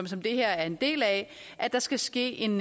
som det her er en del af at der skal ske en